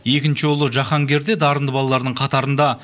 екінші ұлы жаһаргер де дарынды балалардың қатарында